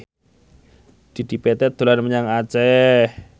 Dedi Petet dolan menyang Aceh